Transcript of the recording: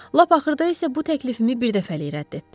Lap axırda isə bu təklifimi bir dəfəlik rədd etdi.